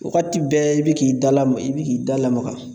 Wagati bɛɛ i bi k'i da lama i bi k'i da lamaga